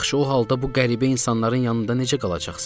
Yaxşı, o halda bu qəribə insanların yanında necə qalacaqsan?